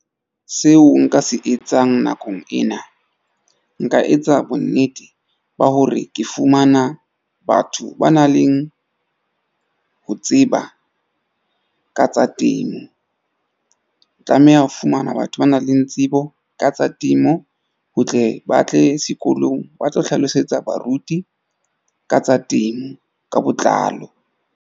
Seo nka se etsang nakong ena nka etsa bonnete ba hore ke fumana batho ba nang leng ho tseba ka tsa temo. Tlameha ho fumana batho ba nang le tsebo ka tsa temo, ho tle ba tle sekolong ba tlo hlalosetsa baruti ka tsa temo ka botlalo.